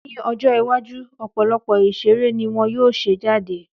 Ní ọjọ́ iwájú, ọ̀pọ̀lọpọ̀ ìṣeré ni wọ́n yóò ṣe jáde